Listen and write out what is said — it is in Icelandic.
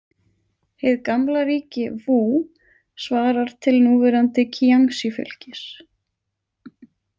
Hið gamla ríki Vú svarar til núverandi Kíangsí- fylkis.